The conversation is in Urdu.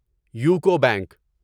UCO bank